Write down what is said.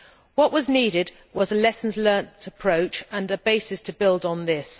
What was needed was a lessons learned' approach and a basis to build on that.